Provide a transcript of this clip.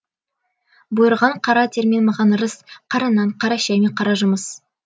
бұйырған қара термен маған ырыс қара нан қара шәй мен қара жұмыс